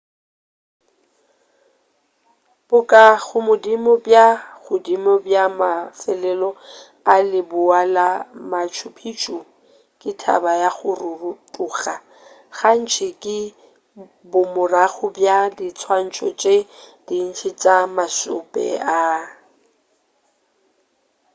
bokagodimo bja ka godimo bja mafelelo a leboa la machu picchu ke thaba ya go rotoga gantši ke bomorago bja diswantšho tše dintši tša mašope a